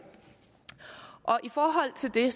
i forhold til det